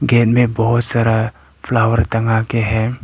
Gate में बहुत सारा फ्लावर टंगा के है।